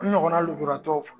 N ɲɔgɔn na lujuratɔw fɔ.